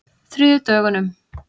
þriðjudögunum